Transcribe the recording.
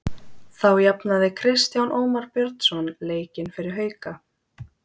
Þá jafnaði Kristján Ómar Björnsson leikinn fyrir Hauka.